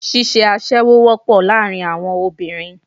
Ṣíṣe aṣẹ́wó wọ́pọ̀ láàárín àwọn obìnrin